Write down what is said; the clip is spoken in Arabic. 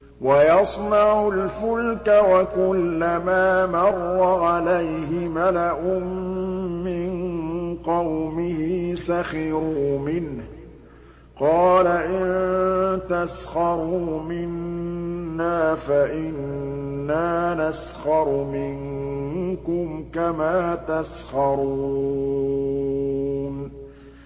وَيَصْنَعُ الْفُلْكَ وَكُلَّمَا مَرَّ عَلَيْهِ مَلَأٌ مِّن قَوْمِهِ سَخِرُوا مِنْهُ ۚ قَالَ إِن تَسْخَرُوا مِنَّا فَإِنَّا نَسْخَرُ مِنكُمْ كَمَا تَسْخَرُونَ